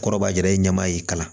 Kɔrɔbayara i ɲɛma y'i kalan